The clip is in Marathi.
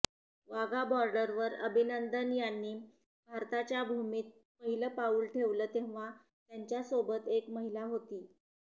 वाघा बॉर्डरवर अभिनंदन यांनी भारताच्या भूमीत पहिलं पाऊल ठेवलं तेव्हा त्यांच्यासोबत एक महिला होती